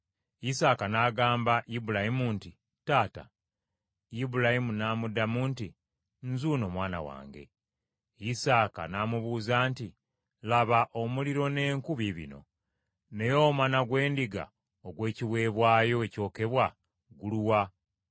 Isaaka n’agamba Ibulayimu nti, “Taata.” Ibulayimu n’amuddamu nti, “Nzuuno mwana wange.” Isaaka n’amubuuza nti, “Laba, omuliro n’enku biibino, naye omwana gw’endiga ogw’ekiweebwayo ekyokebwa guluwa?”